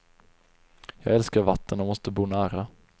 Jag älskar vatten och måste bo nära.